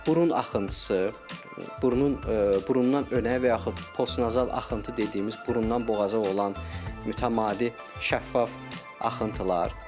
Burun axıntısı, burnun burundan önə və yaxud postnazal axıntı dediyimiz burundan boğaza olan mütəmadi şəffaf axıntılar.